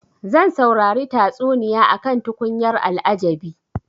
Zan saurari tatsuniya akan tukunyar al'ajabi.